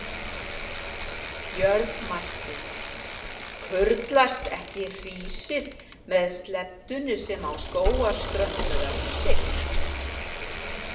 Björn mælti: Kurlast ekki hrísið með sleddunni sem á Skógarströnd með öxi?